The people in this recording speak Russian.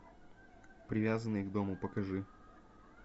привязанные к дому покажи